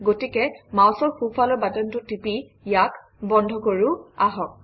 গতিকে মাউচৰ সোঁফালৰ বাটনটো টিপি ইয়াক বন্ধ কৰোঁ আহক